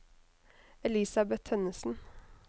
Elisabet Tønnessen